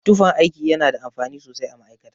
Tufan aiki yana da amfani sosai a ma'aikata.